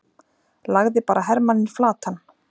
lagði bara hermanninn flatan!